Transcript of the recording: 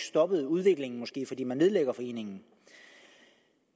stoppet udviklingen fordi man nedlægger foreningen